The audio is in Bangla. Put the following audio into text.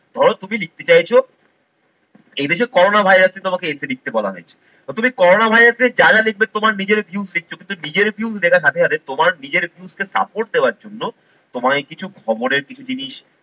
ধরো তুমি লিখতে চাইছো এই দেশে corona virus এ তোমাকে essay লিখতে বলা হয়েছে, তো তুমি corona virus এ যা যা লিখবে তোমার নিজেরই views লিখছো কিন্তু নিজের views লেখার সাথে সাথে তোমার নিজের views কে support দেওয়ার জন্য তোমায় কিছু খবরের কিছু জিনিস